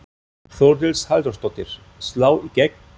Þórdís Halldórsdóttir: Slá í gegn?